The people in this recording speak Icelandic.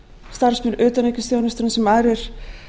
starfsmenn utanríkisþjónustunnar sem aðrir